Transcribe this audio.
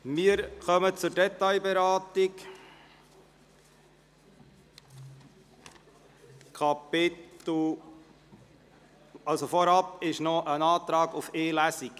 Wir kommen zur Detailberatung, das heisst es besteht noch ein Antrag auf eine Lesung.